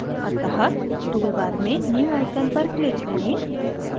अतः toolbar मेंnew icon पर click करें